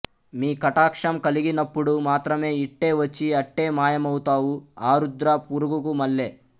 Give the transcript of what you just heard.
మీ కటాక్షం కలిగినప్పుడు మాత్రమే ఇట్టే వచ్చి అట్టే మాయమౌతావు ఆరుద్ర పురుగుకు మల్లే